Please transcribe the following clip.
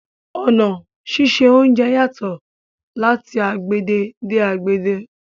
Ọna síṣẹ ọ̀unjẹ yatọ̀ lati agbegbe de agbegbe